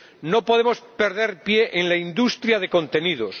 No podemos perder pie en la industria de contenidos.